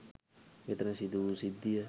මෙතන සිදුවූ සිද්ධිය